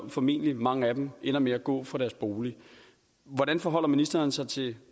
formentlig mange af dem ender med at gå fra deres bolig hvordan forholder ministeren sig til